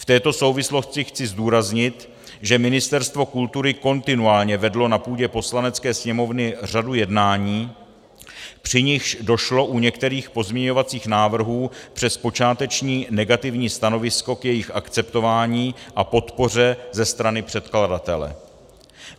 V této souvislosti chci zdůraznit, že Ministerstvo kultury kontinuálně vedlo na půdě Poslanecké sněmovny řadu jednání, při nichž došlo u některých pozměňovacích návrhů přes počáteční negativní stanovisko k jejich akceptování a podpoře ze strany předkladatele.